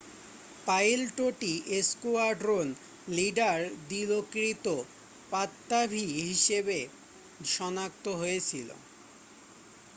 পাইলটটি squadron leader দিলোকৃত পাত্তাভী হিসেবে শনাক্ত হয়েছিল